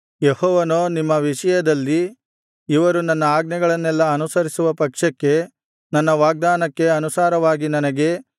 ಯೆಹೋವನೋ ನಿಮ್ಮ ವಿಷಯದಲ್ಲಿ ಇವರು ನನ್ನ ಆಜ್ಞೆಗಳನ್ನೆಲ್ಲಾ ಅನುಸರಿಸುವ ಪಕ್ಷಕ್ಕೆ ನನ್ನ ವಾಗ್ದಾನಕ್ಕೆ ಅನುಸಾರವಾಗಿ ನನಗೆ